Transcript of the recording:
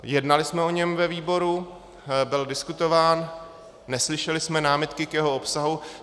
Jednali jsme o něm ve výboru, byl diskutován, neslyšeli jsme námitky k jeho obsahu.